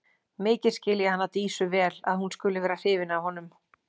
Mikið skil ég hana Dísu vel að hún skuli vera hrifin af honum.